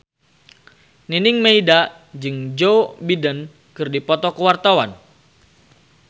Nining Meida jeung Joe Biden keur dipoto ku wartawan